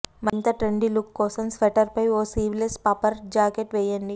మరింత trendy look కోసం స్వెటర్పై ఓ స్లీవ్లెస్ పఫర్ జాకెట్ వేయండి